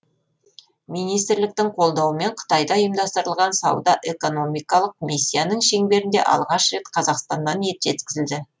министрліктің қолдауымен қытайда ұйымдастырылған сауда экономикалық миссияның шеңберінде алғаш рет қазақстаннан ет жеткізілді